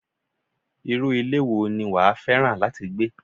Irú ilé wo ni wàá fẹ́ràn láti gbé?